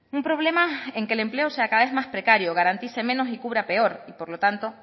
un problema en que el empleo sea cada vez más precaria garantice menos y cubra peor y por lo tanto